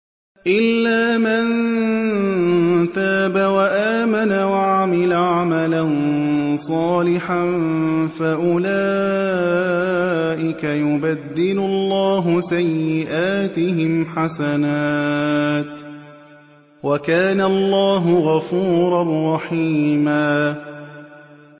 إِلَّا مَن تَابَ وَآمَنَ وَعَمِلَ عَمَلًا صَالِحًا فَأُولَٰئِكَ يُبَدِّلُ اللَّهُ سَيِّئَاتِهِمْ حَسَنَاتٍ ۗ وَكَانَ اللَّهُ غَفُورًا رَّحِيمًا